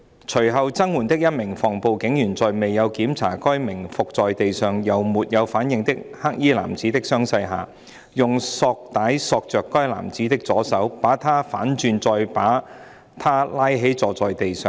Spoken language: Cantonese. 隨後增援的一名防暴警員在未有檢查該名伏在地上又沒有反應的黑衣男子的傷勢下，用索帶索着該男子的左手，把他反轉再把他拉起坐在地上。